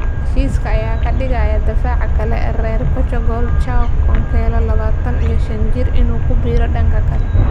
Heshiiska ayaa ka dhigaya daafaca kale ee reer Portugal Joao Cancelo, labataan iyo shaan jiir inuu ku biiro dhanka kale.